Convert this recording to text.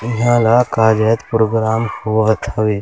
इँहा ला प्रोग्राम होवत हवे।